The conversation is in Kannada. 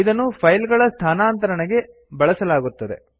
ಇದನ್ನು ಫೈಲ ಗಳ ಸ್ಥಾನಾಂತರಣೆಗೆ ಬಳಸಲಾಗುತ್ತದೆ